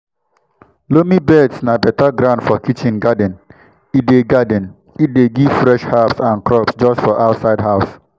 loamy beds na beta ground for kitchen garden e dey garden e dey give fresh herbs and crops just for outside house.